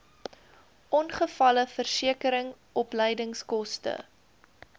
ongevalleversekering opleidingskoste